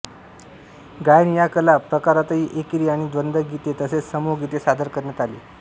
गायन या कला प्रकारातही एकेरी आणि द्वंद्व गीते तसेच समूह गीते सादर करण्यात आली